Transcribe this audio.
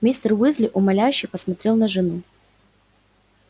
мистер уизли умоляюще посмотрел на жену